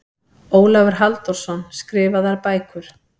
Ólafur Halldórsson, Skrifaðar bækur